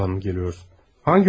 Ölünün yanından mı gəlirsən?